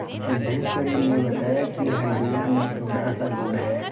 सिद्धेश्वरी ने बताया कि हंडिया में थोड़ासा गुड़ है